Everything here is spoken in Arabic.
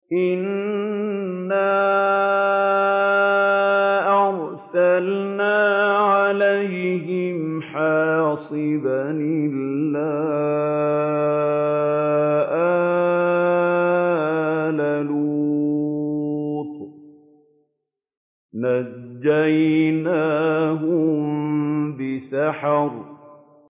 إِنَّا أَرْسَلْنَا عَلَيْهِمْ حَاصِبًا إِلَّا آلَ لُوطٍ ۖ نَّجَّيْنَاهُم بِسَحَرٍ